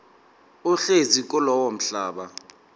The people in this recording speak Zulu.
ohlezi kulowo mhlaba